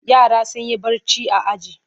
Yara sun yi barci a aji.